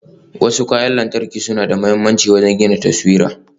Wasu kayan wutan lantarki suna da mahimmanci wajen gina taswira.